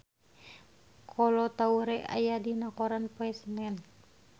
Kolo Taure aya dina koran poe Senen